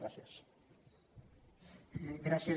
gràcies